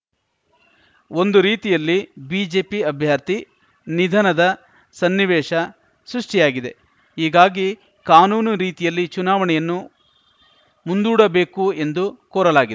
ಒಂದು ರೀತಿಯಲ್ಲಿ ಬಿಜೆಪಿ ಅಭ್ಯರ್ಥಿ ನಿಧನದ ಸನ್ನಿವೇಶ ಸೃಷ್ಟಿಯಾಗಿದೆ ಹೀಗಾಗಿ ಕಾನೂನು ರೀತಿಯಲ್ಲಿ ಚುನಾವಣೆಯನ್ನು ಮುಂದೂಡಬೇಕು ಎಂದು ಕೋರಲಾಗಿದೆ